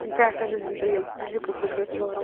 ትንታነታት ዘዘንትዉ እዮም፡፡ እዚ ቅቡል ዶ ትገብርዎ?